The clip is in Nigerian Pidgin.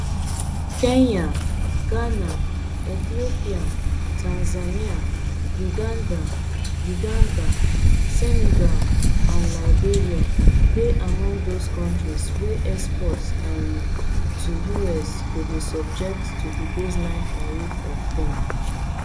kenya ghana ethiopia tanzania uganda uganda senegal and liberia dey among those kontris wey exports um to us go dey subject to di baseline tariff of ten